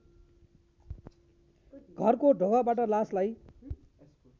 घरको ढोकाबाट लासलाई